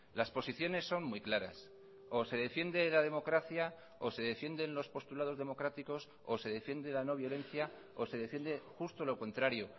las posiciones son muy claras o se defiende la democracia o se defienden los postulados democráticos o se defiende la no violencia o se defiende justo lo contrario